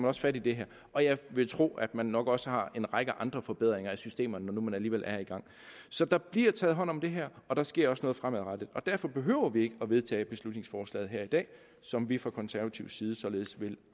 også fat i det her og jeg vil tro at man nok også har en række andre forbedringer af systemerne når nu man alligevel er i gang så der bliver taget hånd om det her og der sker også noget fremadrettet og derfor behøver vi ikke at vedtage beslutningsforslaget her i dag som vi fra konservativ side således vil